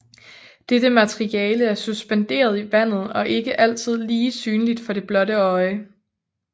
Dette materiale er suspenderet i vandet og ikke altid lige synligt for det blotte øje